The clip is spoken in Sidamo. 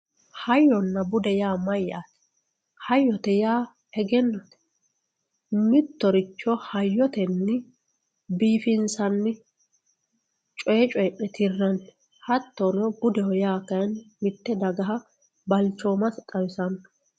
hayyonna bude yaa mayaate hayyote yaa egennote mittoricho hayyotenni biifinsanni coy coyii'ne tirranni hattono budeho yaa kayiini mitte dagaha balichooma xawisanno.